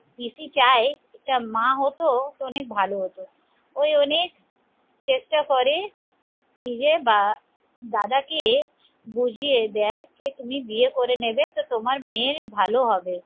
পিসি চায় একটা মা হত তো অনেক ভালো হত ওই অনেক চেষ্টা করে নিজের বা দাদাকে বুঝিয়ে দেয় কে তুমি বিয়ে করে নেবে তো তোমার মেয়ের ভালো হবে